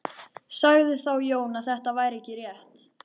Sagði þá Jón að þetta væri ekki rétt.